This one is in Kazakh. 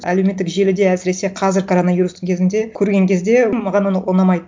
әлеуметтік желіде әсіресе қазір коронавирустың кезінде көрген кезде маған оны ұнамайды